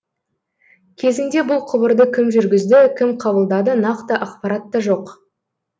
кезінде бұл құбырды кім жүргізді кім қабылдады нақты ақпарат та жоқ